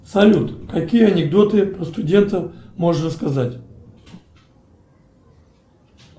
салют какие анекдоты про студентов можешь рассказать